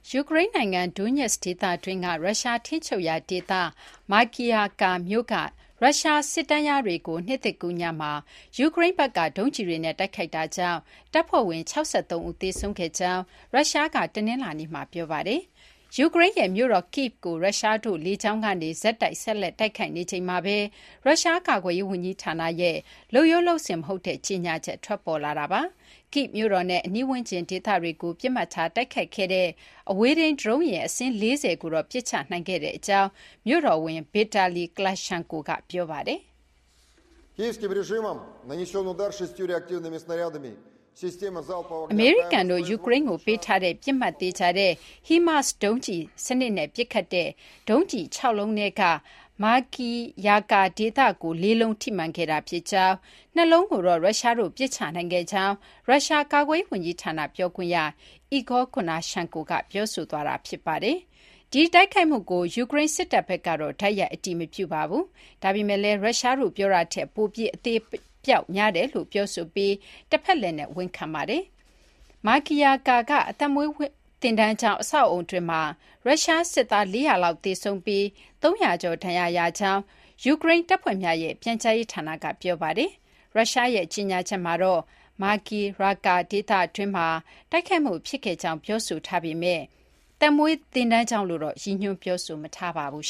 ယူကရိန်းနိုင်ငံ Donetsk ဒေသတွင်းက ရုရှား ထိန်းချုပ်ရာ ဒေသ Makiivka မြို့က ရုရှား စစ်တန်းလျားတွေကို နှစ်သစ်ကူးညမှာ ယူကရိန်းဘက်က ဒုံးကျည်တွေနဲ့ တိုက်ခိုက်တာကြောင့် တပ်ဖွဲ့ဝင် ၆၃ ဦး သေဆုံးခဲ့ကြောင်း ရုရှားက တနလာၤနေ့မှာ ပြောပါတယ်။ ယူကရိန်းရဲ့ မြို့တော် Kyiv ကို ရုရှားတို့က လေကြောင်းကနေ ဆက်တိုက် တိုက်ခိုက်နေချိန်မှာဘဲ ရုရှား ကာကွယ်ရေး ဝန်ကြီးဌာနရဲ့ လုပ်ရိုး လုပ်စဉ် မဟုတ်တဲ့ ကြေညာချက် ထွက်ပေါ်လာတာပါ။ Kyiv မြို့တော်နဲ့ အနီးဝန်းကျင် ဒေသတွေကို ပစ်မှတ်ထားတိုက်ခိုက်ခဲ့ အဝေးထိန်း ဒရုန်းယာဉ် အစင်း ၄၀ လုံးကိုတော့ ပစ်ချ နိုင်ခဲ့ကြောင်း မြို့တော်ဝန် Vitali Klitschko က ပြောပါတယ်။ " အမေရိကန်တို့ ယူကရိန်းကို ပေးထားတဲ့ ပစ်မှတ်သေချာတဲ့ HIMARS ဒုံးကျည် စနစ်နဲ့ ပစ်ခတ်တဲ့ ဒုံးကျည် ၆ လုံးထဲက Makiivka ဒေသကို ၄ လုံး ထိမှန်ခဲ့တာ ဖြစ်ကြောင်း ၊ ၂ လုံးကိုတော့ ရုရှားတို့က ပစ်ချနိုင်ခဲ့ကြောင်း ရုရှား ကာကွယ်ရေး ဝန်ကြီးဌာန ပြောခွင့်ရ Igor Konashenkov က ပြောဆိုခဲ့တာ ဖြစ်ပါတယ် " ဒီတိုက်ခိုက်မှုကို ယူကရိန်း စစ်တပ် ဘက်ကတော့ တိုက်ရိုက် အတည်မပြုပါဘူး။ ဒါပေမယ့်လည်း ရုရှားတို့ ပြောတာထက် ပိုပြီး အသေအပျောက်များတယ်လို့ ပြောဆိုပြီး တဖက်လှည့်နဲ့ ဝန်ခံထားပါတယ်။ Makiivka က သက်မွေးသင်တန်းကျောင်း အဆောက်အအုံတွင်းမှာ ရုရှား စစ်သား ၄၀၀ လောက် သေဆုံးပြီး ၃၀၀ ကျော် ဒဏ်ရာရကြောင်း ယူကရိန်း တပ်ဖွဲ့များရဲ့ ပြန်ကြားရေးဌာနက ပြောဆိုထားပါတယ်။ ရုရှားရဲ့ ကြေညာချက်မှာတော့ Makiivka ဒေသတွင်းမှာ တိုက်ခိုက်မှု ဖြစ်ခဲ့ကြောင်း ပြောဆိုထားပေမဲ့ သက်မွေးသင်တန်းကျောင်းလို့တော့ ရည်ညွှန်း ပြောဆိုမထားပါဘူး